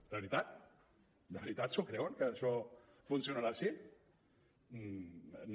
de veritat de veritat s’ho creuen que això funcionarà així no